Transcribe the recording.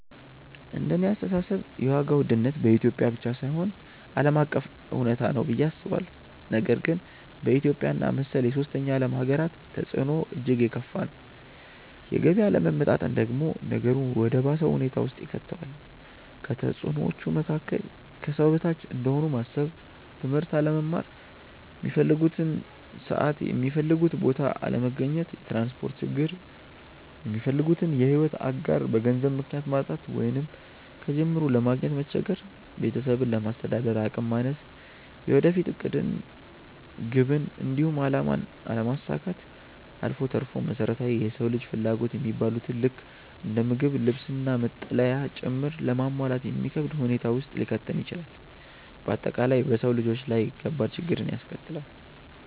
እንደኔ አስተሳሰብ የዋጋ ውድነት በኢትዮጵያ ብቻ ሳይሆን ዓለም አቀፍ እውነታ ነው ብዬ አስባለሁ፤ ነገር ግን በኢትዮጵያ እና መሰል የሶስተኛ ዓለም ሃገራት ተፅዕኖው እጅግ የከፋ ነው። የገቢ አለመመጣጠን ደግሞ ነገሩን ወደ ባሰ ሁኔታ ውስጥ ይከተዋል። ከተፅዕኖዎቹ መካከል፦ ከሰው በታች እንደሆኑ ማሰብ፣ ትምህርት አለመማር፣ ሚፈልጉበት ሰዓት የሚፈልጉበት ቦታ አለመገኘት፣ የትራንስፖርት ችግር፣ የሚፈልጉትን የሕይወት አጋር በገንዘብ ምክንያት ማጣት ወይንም ከጅምሩ ለማግኘት መቸገር፣ ቤተሰብን ለማስተዳደር አቅም ማነስ፣ የወደፊት ዕቅድን፣ ግብን፣ እንዲሁም አላማን አለማሳካት አልፎ ተርፎም መሰረታዊ የሰው ልጆች ፍላጎት የሚባሉትን ልክ እንደ ምግብ፣ ልብስ፣ መጠለያ ጭምር ለማሟላት የሚከብድ ሁኔታ ውስጥ ሊከተን ይችላል። በአጠቃላይ በሰው ልጆች ላይ ከባድ ችግርን ያስከትላል።